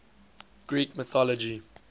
greek mythology